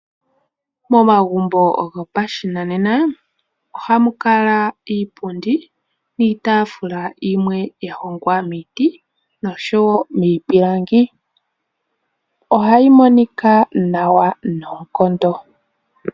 Momagumbo gopashinanena ohamu kala iipundi niitafuula yimwe yahongwa miiti noshowo miipilangi, ohayi monika nawa noonkondo.